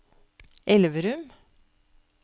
Elverum